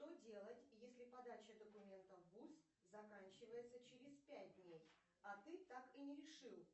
что делать если подача документов в вуз заканчивается через пять дней а ты так и не решил